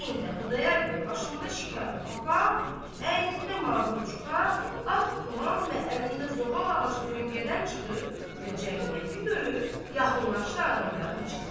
Bu heydə Xudayar bəy başında şikarə papaq, əynində mahurçuqa, ağ tuman və əlində zoğal ağacı döngədən çıxıb və cəmiyyəti görüb, yaxınlaşdı adamların içinə.